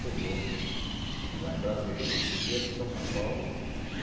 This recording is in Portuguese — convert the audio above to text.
Chegou lá em Brasília e veio aqui para São Paulo.